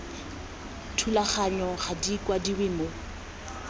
thulaganyong ga di kwadiwe mo